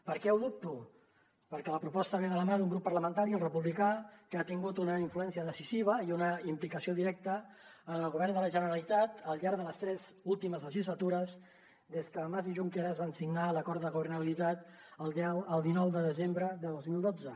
per què ho dubto perquè la proposta ve de la mà d’un grup parlamentari el republicà que ha tingut una influència decisiva i una implicació directa en el govern de la generalitat al llarg de les tres últimes legislatures des que mas i junqueras van signar l’acord de governabilitat el dinou de desembre de dos mil dotze